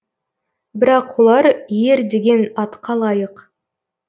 бірақ олар ер деген атқа лайық